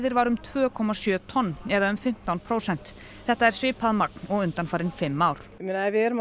var um tveir komma sjö tonn eða um fimmtán prósent þetta er svipað magn og undanfarin fimm ár við erum að